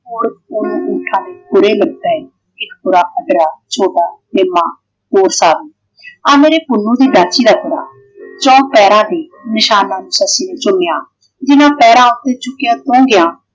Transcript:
ਇੱਕ ਗੋਰਾ ਮੱਧਰਾ ਛੋਟਾ ਤੇ ਨੀਵਾਂ । ਆ ਮੇਰੇ ਪੁੰਨੁ ਦੀ ਡਾਚੀ ਦਾ ਕੜਾ। ਚੋਹਾਂ ਪੈਰਾਂ ਦੇ ਨਿਸ਼ਾਨਾ ਨੂੰ ਸੱਸੀ ਨੇ ਚੁੰਮਿਆ ਜਿਹਨਾਂ ਪੈਰਾਂ ਉੱਤੇ ਚੁੱਕੀਆਂ ਉਹ ਸੌਂ ਗਿਆ।